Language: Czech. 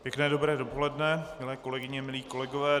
Pěkné dobré dopoledne, milé kolegyně a kolegové.